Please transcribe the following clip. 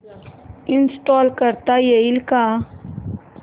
install करता येईल का